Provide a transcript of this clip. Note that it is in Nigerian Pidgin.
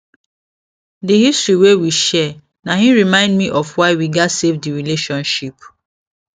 the history wey we share na hin remind me of why we gats save the relationship